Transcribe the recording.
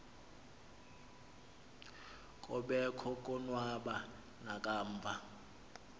kobekho konwaba nakamva